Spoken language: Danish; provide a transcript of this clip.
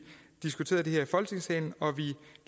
diskuterede det her i folketingssalen vi